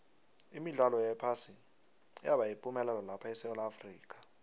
imidlalo yephasi yabayipumelelo lapha esewula afrika